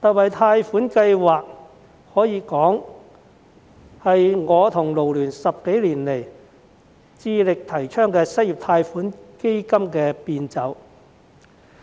這項貸款計劃，可說是我和港九勞工社團聯會10多年來致力提倡的失業貸款基金的變奏。